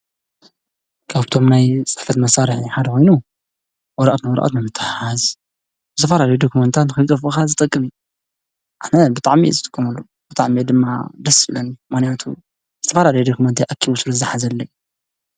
ካብቶም ናይ ፅሕፈት መሳርሒ ሓደ ኮይኑ ወረቀት ንወረቀት ንምትሕሓዝ ዝተፈላለዩ ዶክሜንታት ንከይጠፉኡካ ዝጠቅም፤ አነ ብጣዕሚ እየ ዝጥቀመሉ ብጣዕሚ እዩ ድማ ደስ ዝብለኒ ምክንያቱ ዝተፈላለየ ዶክሜንተይ አኪቡ ስለ ዝሓዘለይ፡፡